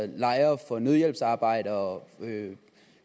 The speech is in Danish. lejre for nødhjælpsarbejdere